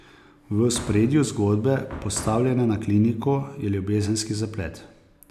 V ospredju zgodbe, postavljene na kliniko, je ljubezenski zaplet.